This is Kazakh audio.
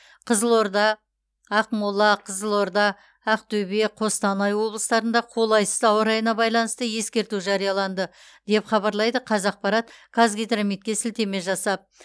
қызылорда ақмола қызылорда ақтөбе қостанай облыстарында қолайсыз ауа райына байланысты ескерту жарияланды деп хабарлайды қазақпарт қазгидрометке сілтеме жасап